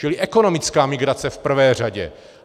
Čili ekonomická migrace v prvé řadě.